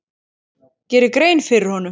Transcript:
geri grein fyrir honum?